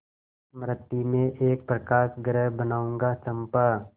मृति में एक प्रकाशगृह बनाऊंगा चंपा